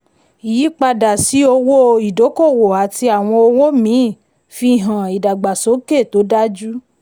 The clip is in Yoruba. ìyípadà sí owó ìdókòwò àti àwọn òwò míì fihan ìdàgbàsókè tó dájú.